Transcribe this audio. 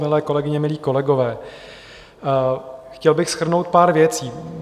Milé kolegyně, milí kolegové, chtěl bych shrnout pár věcí.